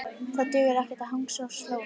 Það dugar ekki að hangsa og slóra.